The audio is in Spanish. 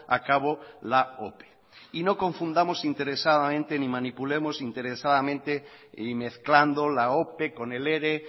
a cabo la ope y no confundamos interesadamente ni manipulemos interesadamente y mezclando la ope con el ere